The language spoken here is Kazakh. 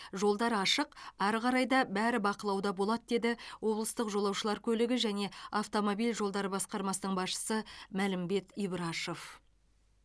жолдар ашық әрі қарай да бәрі бақылауда болады деді облыстық жолаушылар көлігі және автомобиль жолдары басқармасының басшысы мәлімбет ибрашев